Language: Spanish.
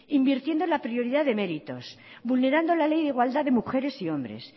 invirtiendo en la prioridad de méritos vulnerando la ley de igualdad de mujeres y hombres